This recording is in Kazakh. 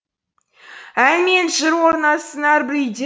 ән менен жыр орнасын әрбір үйде